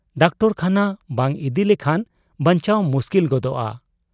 Doctor ᱠᱷᱟᱱᱟ ᱵᱟᱝ ᱤᱫᱤ ᱞᱮᱠᱷᱟᱱ ᱵᱟᱧᱪᱟᱣ ᱢᱩᱥᱠᱤᱞ ᱜᱚᱫᱚᱜ ᱟ ᱾